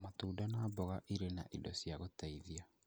Matunda na mboga irĩ na indo cia gũtũteithia